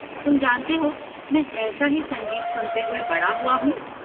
तुम जानते हो, मैं ऐसा ही संगीत सुनते हुआ बड़ा हुआ हूँ।